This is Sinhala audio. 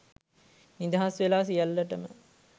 නිදහස් වෙලා සියල්ලටම